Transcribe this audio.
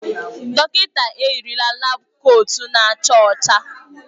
Dọkịta eyirila laabu kootu na-acha ọcha.